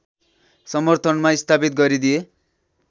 समर्थनमा स्थापित गरिदिए